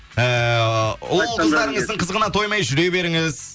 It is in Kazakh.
ііі ұл қыздарыңыздың қызығына тоймай жүре беріңіз